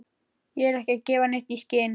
Ég er ekki að gefa neitt í skyn.